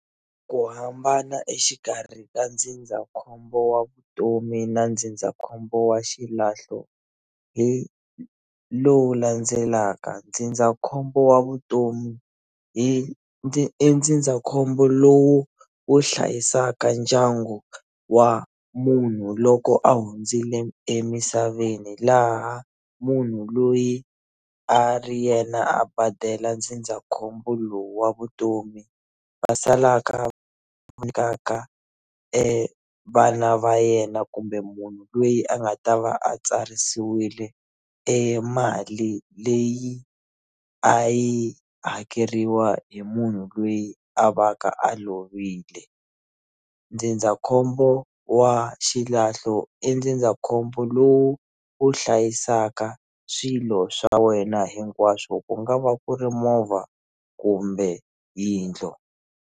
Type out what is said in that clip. Ku hambana exikarhi ka ndzindzakhombo wa vutomi na ndzindzakhombo wa xilahlo hi lowu landzelaka ndzindzakhombo wa vutomi hi ndzi i ndzindzakhombo lowu wu hlayisaka ndyangu wa munhu loko a hundzile emisaveni laha munhu loyi a ri yena a badela ndzindzakhombo lowu wa vutomi va salaka va vana va yena kumbe munhu loyi a nga ta va a tsarisiwile e mali leyi a yi hakeriwa hi munhu loyi a va ka a lovile ndzindzakhombo wa xilahlo i ndzindzakhombo lowu wu hlayisaka swilo swa wena hinkwaswo ku nga va ku ri movha kumbe yindlu.